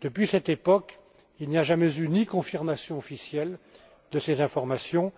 Depuis cette époque, il n'y a jamais eu ni confirmation officielle de ces informations,